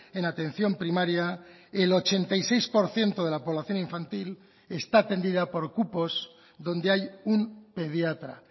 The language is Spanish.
en atención primaria el ochenta y seis por ciento de la población infantil está atendida por cupos donde hay un pediatra